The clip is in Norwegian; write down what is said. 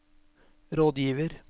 rådgiver